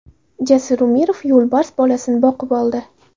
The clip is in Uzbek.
Jasur Umirov yo‘lbars bolasini boqib oldi.